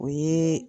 O ye